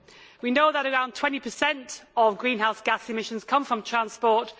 We know that around 20 of greenhouse gas emissions come from transport.